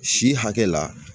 Si hakɛ la